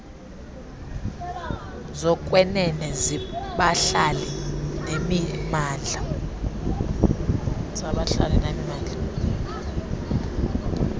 zokwenene zabahlali nemimandla